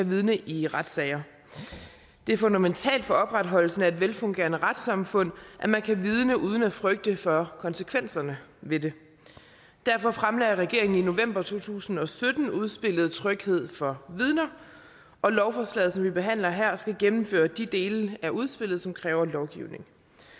vidne i retssager det er fundamentalt for opretholdelsen af et velfungerende retssamfund at man kan vidne uden at frygte for konsekvenserne ved det derfor fremlagde regeringen i november to tusind og sytten udspillet tryghed for vidner og lovforslaget som vi behandler her skal gennemføre de dele af udspillet som kræver lovgivning